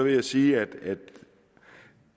jeg sige at